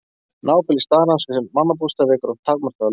Nábýli starans við mannabústaði vekur oft takmarkaða lukku.